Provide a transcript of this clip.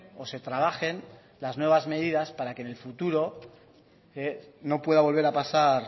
o se trabajen las nuevas medidas para que en el futuro no pueda volver a pasar